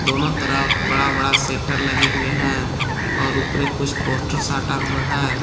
दोनों तरफ बड़ा बड़ा शेटर लगे हुए हैं और ऊपर एक कुछ पोस्टर साटा हुआ है।